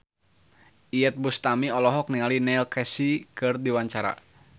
Iyeth Bustami olohok ningali Neil Casey keur diwawancara